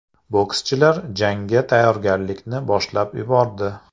Bokschilar jangga tayyorgarlikni boshlab yubordi.